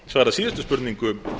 svarað síðustu spurningu